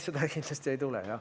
Seda kindlasti ei tule.